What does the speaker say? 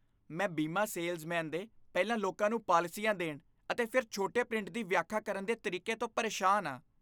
ਮੈਂ ਬੀਮਾ ਸੇਲਜ਼ਮੈਨ ਦੇ ਪਹਿਲਾਂ ਲੋਕਾਂ ਨੂੰ ਪਾਲਿਸੀਆਂ ਦੇਣ ਅਤੇ ਫਿਰ ਛੋਟੇ ਪ੍ਰਿੰਟ ਦੀ ਵਿਆਖਿਆ ਕਰਨ ਦੇ ਤਰੀਕੇ ਤੋਂ ਪਰੇਸ਼ਾਨ ਹਾਂ।